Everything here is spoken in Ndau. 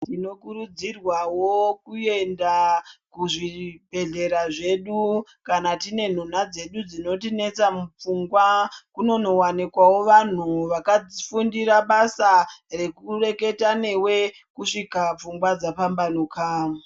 Tinokurudzirwawo kuenda kuzvibhehlera zvedu kana tine nhunha dzedu dzinotinesa mupfungwa kunonowanikwawo vanhu vakafundira basa rekureketa newe kusvika pfungwa dzambambanuka .